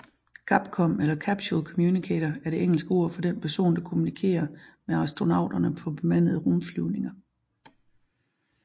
CAPCOM eller Capsule communicator er det engelske ord for den person der kommunikerer med astronauterne på bemandede rumflyvninger